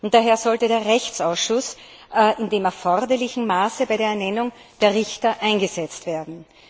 Daher sollte der Rechtsausschuss im erforderlichen Maße bei der Ernennung der Richter einbezogen werden.